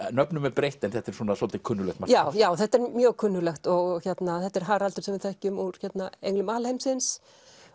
nöfnum er breytt en þetta er svolítið kunnuglegt margt já já þetta er mjög kunnuglegt og þetta er Haraldur sem við þekkjum úr englum alheimsins